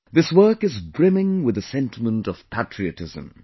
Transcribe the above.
This work is brimming with the sentiment of patriotism